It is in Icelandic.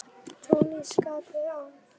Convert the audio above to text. Túnis getur átt við um